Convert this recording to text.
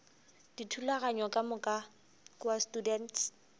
dithulaganyo ka moka kua students